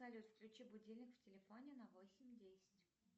салют включи будильник в телефоне на восемь десять